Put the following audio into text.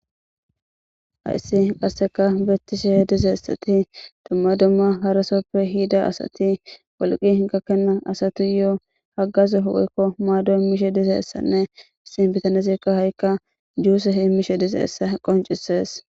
hayssi qasseka beettishehe dize essati dumma dumma harasoppe hiida asati wolqi hinkakkena asatu yoo haggazu hu7eykko maado mishe dize essanne issin bitane zirka ha7ikka juuse hi mishe dize essa qoncises